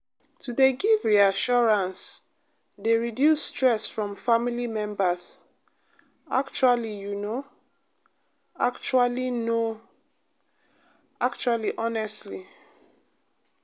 to dey give reassurance dey reduce stress from family members actually you know actually know actually honestly